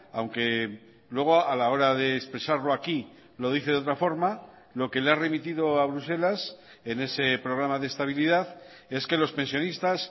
aunque luego a la hora de expresarlo aquí lo dice de otra forma lo que le ha remitido a bruselas en ese programa de estabilidad es que los pensionistas